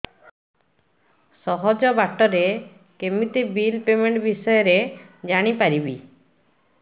ସହଜ ବାଟ ରେ କେମିତି ବିଲ୍ ପେମେଣ୍ଟ ବିଷୟ ରେ ଜାଣି ପାରିବି